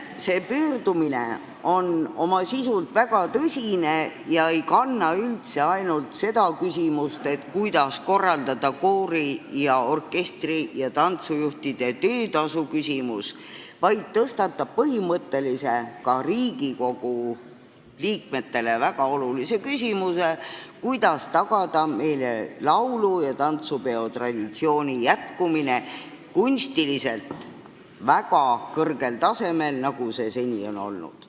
See pöördumine on oma sisult väga tõsine ega käsitle üldse ainult seda, kuidas lahendada koori-, orkestri- ja tantsujuhtide töötasu probleemi, vaid tõstatab põhimõttelise, ka Riigikogu liikmetele väga olulise küsimuse, kuidas tagada meie laulu- ja tantsupeo traditsiooni jätkumine kunstiliselt väga kõrgel tasemel, nagu see seni on olnud.